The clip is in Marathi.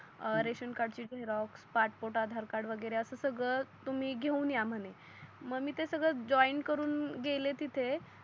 रेशन कार्ड ची झेरॉक्स, पासपोर्ट, आधार कार्ड वगेरे अस सगड तुम्ही घेऊन या म्हणे. मग मी ते सगड जॉयन करून गेले तिथे